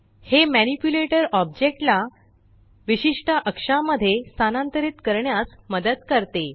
हे manipulator object ला विशिष्ट अक्षामध्ये स्थानांतरित करण्यास मदत करते